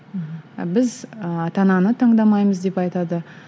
ы біз ы ата ананы таңдамаймыз деп айтады